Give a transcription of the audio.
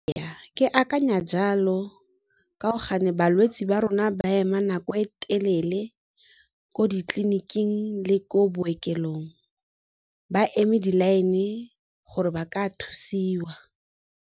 Ke akanya jalo gao gane balwetse ba rona ba ema nako e telele ko ditleliniking le ko bookelong ba eme di-line e gore ba ka thusiwa.